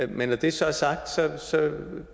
men når det så er sagt